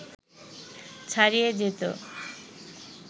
ছাড়িয়ে যেত